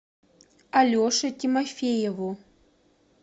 алеше тимофееву